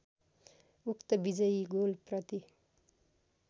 उक्त विजयी गोलप्रति